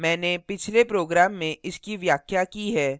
मैंने पिछले program में इसकी व्याख्या की है